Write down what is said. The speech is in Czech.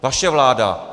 Vaše vláda!